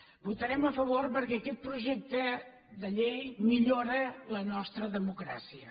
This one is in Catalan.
hi votarem a favor perquè aquest projecte de llei millora la nostra democràcia